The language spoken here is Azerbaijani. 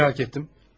Səni maraq etdim.